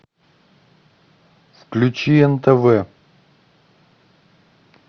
включи нтв